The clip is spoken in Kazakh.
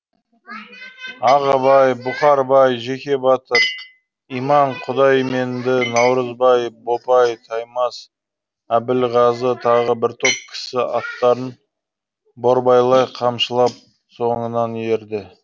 ағыбай бұқарбай жеке батыр иман құдайменді наурызбай бопай таймас әбілғазы тағы бір топ кісі аттарын борбайлай қамшылап соңынан ерді